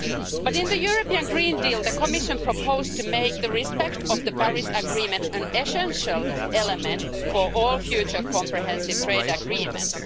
But in the European Green Deal, the Commission proposed to make respect of the Paris Agreement an essential element for all future comprehensive trade agreements.